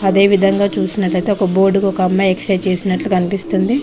అదే విధంగా చూసినట్లయితే ఒక బోర్డు కు ఒక అమ్మాయి ఎక్సర్సైజు చేసినట్లు కనిపిస్తుంది.